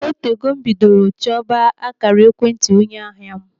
O tego m bidoro chọba akaara ekwentị onye ahịa m.